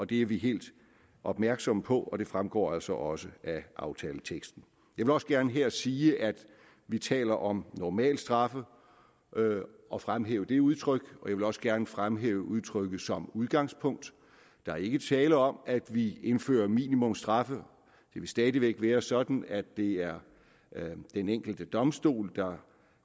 det er vi helt opmærksomme på og det fremgår altså også af aftaleteksten jeg vil også gerne her sige at vi taler om normalstraffe og fremhæve det udtryk og jeg vil også gerne fremhæve udtrykket som udgangspunkt der er ikke tale om at vi indfører minimumsstraffe det vil stadig væk være sådan at det er den enkelte domstol der